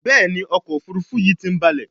Béèni ọkọ̀ òfurufú yi tí ń balè.